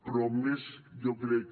però més jo crec